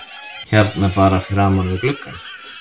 Hérna bara framan við gluggann?